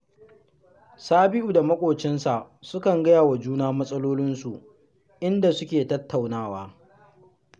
Sabi’u da maƙocinsa sukan gaya wa juna matsalolinsu, inda suke tattaunawa